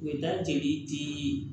U bɛ da jeli dii